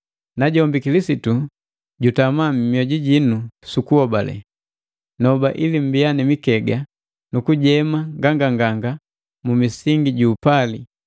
najombi Kilisitu jutama mioju jinu su kuhobale. Noba ili mmbiya mikega nukujema nganganganga mu misingi ju upali,